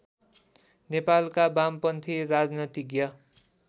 नेपालका बामपन्थी राजनीतिज्ञ